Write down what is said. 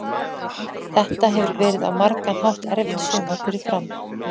Þetta hefur verið á margan hátt erfitt sumar fyrir Fram.